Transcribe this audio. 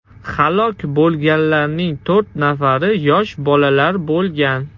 Halok bo‘lganlarning to‘rt nafari yosh bolalar bo‘lgan.